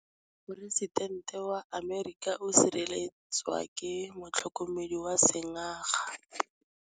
Poresitêntê wa Amerika o sireletswa ke motlhokomedi wa sengaga.